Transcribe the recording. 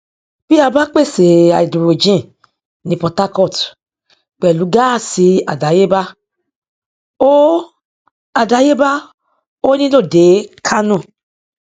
bí a bá pèsè háídírójìn ní port harcourt pẹlú gáásì àdáyébá ó àdáyébá ó nílò dé kánò